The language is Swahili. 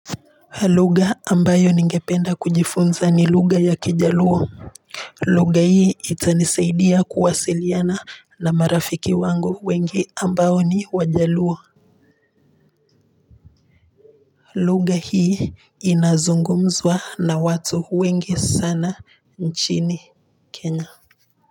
Lugha ambayo ningependa kujifunza ni lugha ya Kijaluo lugha hii itanisaidia kuwasiliana na marafiki wangu wengi ambao ni wajaluo lugha hii inazungumzwa na watu wengi sana nchini Kenya.